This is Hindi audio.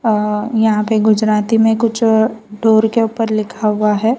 अ यहां पे गुजराती में कुछ डोर के ऊपर लिखा हुआ है।